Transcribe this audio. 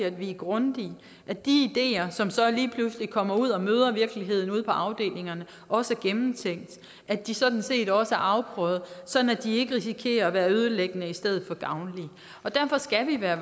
at vi er grundige at de ideer som så lige pludselig kommer ud og møder virkeligheden ude på afdelingerne også er gennemtænkte at de sådan set også er afprøvede sådan at de ikke risikerer at være ødelæggende i stedet for gavnlige derfor skal vi være